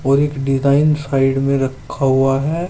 और एक design side में रखा हुआ है।